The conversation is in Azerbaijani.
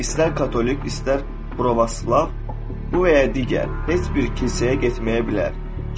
İstər katolik, istər pravoslav, bu və ya digər heç bir kilsəyə getməyə bilər.